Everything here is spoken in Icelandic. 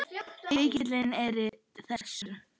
Fylkin eru þessi